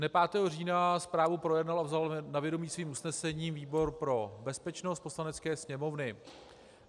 Dne 5. října zprávu projednal a vzal na vědomí svým usnesením výbor pro bezpečnost Poslanecké sněmovny.